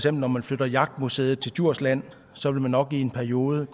at når man flytter jagtmuseet til djursland så vil der nok i en periode